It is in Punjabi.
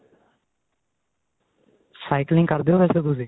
cycling ਕਰਦੇ ਓ ਵੈਸੇ ਤੁਸੀਂ